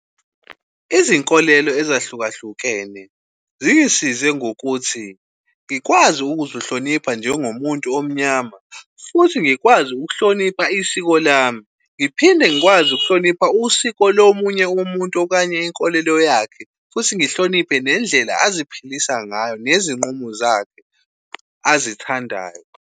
Izinkolelo ezahlukahlukene zingisize ngokuthi ngikwazi ukuzihlonipha njengomuntu omnyama futhi ngikwazi ukuhlonipha isiko lami, ngiphinde ngikwazi ukuhlonipha usiko lomunye umuntu okanye inkolelo yakhe futhi ngihloniphe nendlela aziphilisa ngayo nezinqumo zakhe azithandayo.